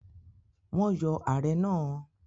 Wọ́n yọ ààrẹ náà?